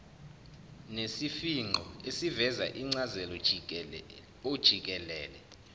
nesifingqo esiveza incazelojikelele